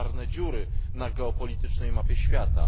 czarne dziury na geopolitycznej mapie świata.